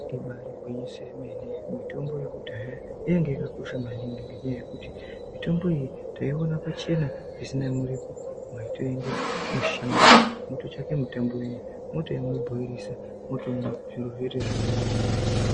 Ibari gwinyiso remene mitombo yekudhaya inenge yakakosha maningi ngenyaya yekuti Mitombo iyi tikaiona pachena matenda emushango anochengeta mota yemupurisa votoona zviri zvakanaka.